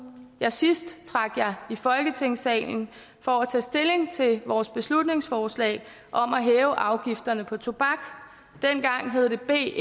jeg sidst trak jer i folketingssalen for at tage stilling til vores beslutningsforslag om at hæve afgifterne på tobak dengang hed det b